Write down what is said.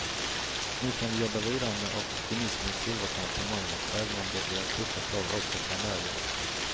Nu kan vi jobba vidare med optimismens silverkant på molnet, även om det blir tuffa tag också framöver.